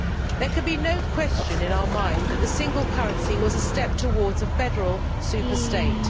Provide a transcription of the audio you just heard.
There can be no question in our mind that the single currency was a step towards a federal superstate.